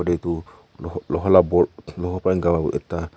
etu Loha vala boad Loha para gua ekta--